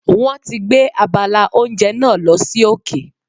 Wọ́n ti gbé abala oúnjẹ náà lọ sí òkè.